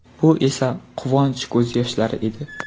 Bu esa quvonch ko‘z yoshlari edi”.